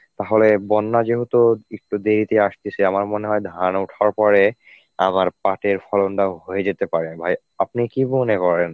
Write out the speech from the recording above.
তাহলে বন্যা যেহেতু একটু দেরিতে আসতেছে আমার মনে হয় ধান ওঠার পরে আবার পাটের ফলনটাও হয়ে যেতে পারে ভাই. আপনি কী মনে করেন?